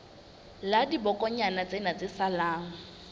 la dibokonyana tsena tse salang